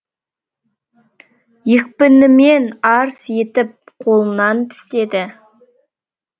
екпінімен арс етіп қолынан тістеді